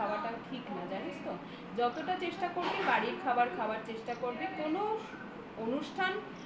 খাওয়াটা ঠিক নয় জানিস তো যতটা চেষ্টা করবি বাড়ির খাবার খাওয়ারই চেষ্টা করবি কোন অনুষ্ঠান